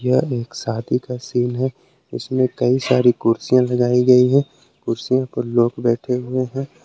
यह एक शादी का सीन हैं इसमें कई सारी कुर्सियां लगाई गई है कुर्सियां पर लोग बैठे हुए है।